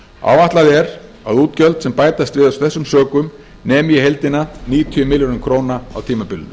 áætlað er að útgjöld sem bætast við af þessum sökum nemi í heildina níutíu milljörðum króna á tímabilinu